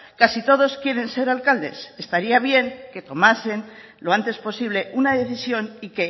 casi todos quieren ser alcaldes estaría bien que tomasen lo antes posible una decisión y